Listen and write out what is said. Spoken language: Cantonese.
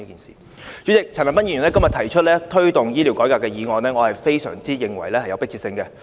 主席，陳恒鑌議員今天提出"推動醫療改革"的議案，我認為非常有迫切性。